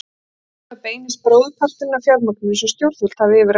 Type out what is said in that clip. Þangað beinist bróðurparturinn af fjármagninu sem stjórnvöld hafa yfir að ráða.